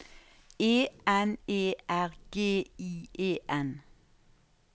E N E R G I E N